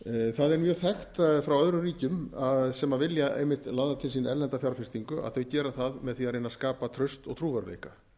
það er mjög þekkt frá öðrum ríkjum sem vilja einmitt laða til sín erlenda fjárfestingu að þau gera það með því að reyna að skapa traust og trúverðugleika